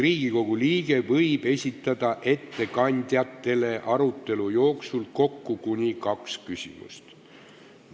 Riigikogu liige võib esitada ettekandjatele arutelu jooksul kokku kuni kaks küsimust.